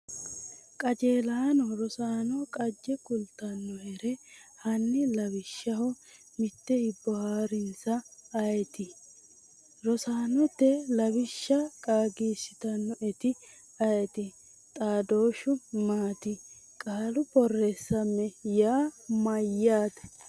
qaajelano Rosaano qaagge kultannohere Hanni lawishshaho mitte hibbo haa’rinsa ayeeti? Rosaanote lawishsha qaagiissitannoeti ayeeti? xaadooshshi maati? Qaalu borreessamme yaa mayyaate?